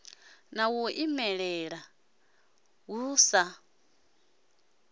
na u imela hu sa